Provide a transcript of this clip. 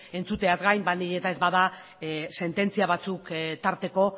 entzuteaz gain baldin eta ez bada sententzia batzuk tarteko